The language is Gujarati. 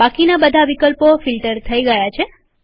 બાકીના બધા વિકલ્પો ફિલ્ટર થઇ ગયા છે